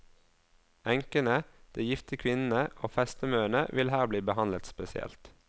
Enkene, de gifte kvinnene og festemøene vil her bli behandlet spesielt.